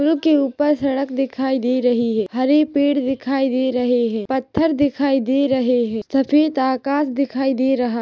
पुल के ऊपर सड़क दिखाई दे रही है हरे पेड़ दिखाई दे रहे है पत्थर दिखाई दे रहे है सफ़ेद आकाश दिखाई दे रहा--